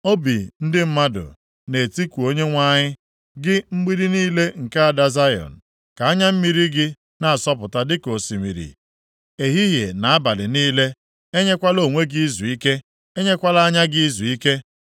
Obi ndị mmadụ na-etiku Onyenwe anyị. Gị, mgbidi niile nke ada Zayọn, ka anya mmiri gị na-asọpụta dịka osimiri ehihie na abalị niile, enyekwala onwe gị izuike, enyekwala anya gị izuike.